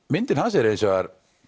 myndin hans er hins vegar